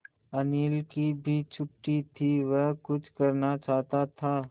अनिल की भी छुट्टी थी वह कुछ करना चाहता था